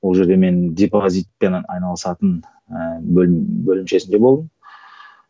ол жерде мен депозитпенен айналысатын ыыы бөлім бөлімшесінде болдым